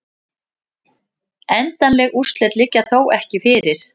Endanleg úrslit liggja þó ekki fyrir